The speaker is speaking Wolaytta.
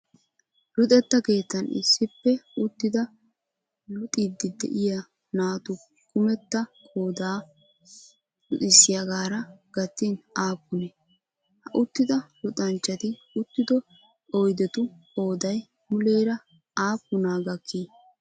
Luxetta keettan issippe uttidi luxiiddi de'iyaa naatu kumetta qooday luxissiyaagaara gattin aappunee? ha uttida luxanchchati uttido oyidetu qoodayi muleera aappunaa gakkii?